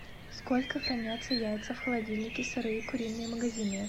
сколько хранятся яйца в холодильнике сырые куриные магазинные